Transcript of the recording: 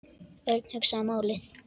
Örn hugsaði málið.